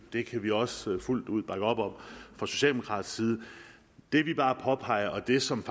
det kan vi også fuldt ud bakke op om fra socialdemokratisk side det vi bare påpeger og det som